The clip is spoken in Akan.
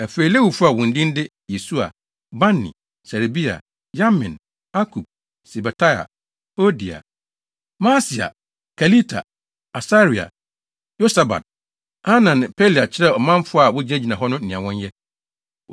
Afei, Lewifo a wɔn din de Yesua, Bani, Serebia, Yamin, Akub, Sabetai, Hodia, Maaseia, Kelita, Asaria, Yosabad, Hanan ne Pelaia kyerɛɛ ɔmanfo a wogyinagyina hɔ no nea wɔnyɛ.